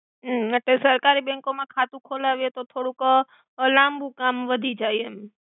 હમ એટ્લે સરકારિ બેંકો મા ખાતુ ખોલાવી એ તો થોડુક લામ્બુ કામ વાધી જાય એમ.